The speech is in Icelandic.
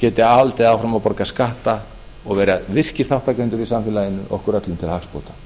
geti haldið áfram að borga skatta og vera virkir þátttakendur í samfélaginu okkur öllum til hagsbóta